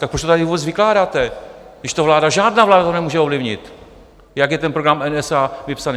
Tak proč to tady vůbec vykládáte, když to vláda - žádná vláda to nemůže ovlivnit, jak je ten program NSA vypsaný.